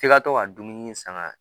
F'i ka to ka dumuni san ŋ'a